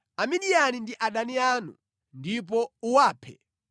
“Amidiyani ndi adani anu ndipo uwaphe,